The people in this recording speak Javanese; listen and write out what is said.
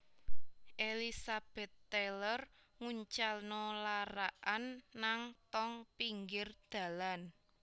Elizabeth Taylor nguncalno larak an nang tong pinggir dalan